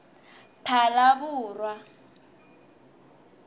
phalaborwa